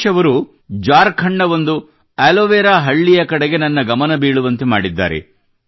ಸತೀಶ್ ಅವರು ಝಾಖರ್ಂಡ್ ನ ಒಂದು ಆಲೋವೆರಾ ಹಳ್ಳಿಯ ಕಡೆಗೆ ನನ್ನ ಗಮನ ಬೀಳುವಂತೆ ಮಾಡಿದ್ದಾರೆ